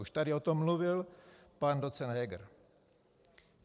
Už tady o tom mluvil pan docent Heger.